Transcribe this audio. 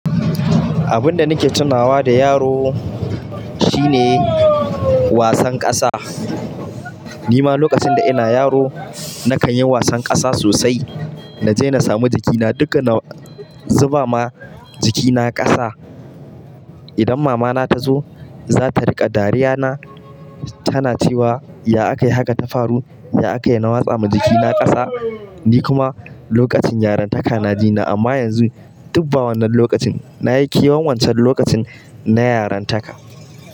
Abun da nake tunawa da yaro shine wasan ƙasa. Ni ma lokacin da ina yaro nakan yi wasan ƙasa sosai. Na je na samu jikina duka na zuba ma jikina ƙasa. Idan mama na ta zo, za ta riƙa dariya na. Tana cewa, "ya aka yi haka ta faru? Ya aka yi na watsa ma jikina ƙasa?" Ni kuma lokacin yarantaka na ji na. Amma yanzu, duk ba wannan lokacin, na yi kewan wancan lokacin na yarintaka.